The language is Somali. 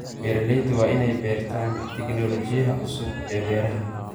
Beeraleydu waa in ay bartaan tignoolajiyada cusub ee beeraha.